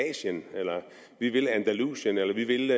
asien eller vi vil andalusien eller vi vil